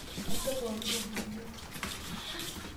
Kaisho pooki toki niyieu.